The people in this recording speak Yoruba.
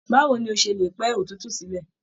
Báwo ní o ṣe lè pẹ́ òtútù sílẹ?